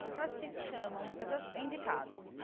Porque elas te chamam, muitas vezes é indicado.